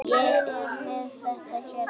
Ég er með þetta hérna.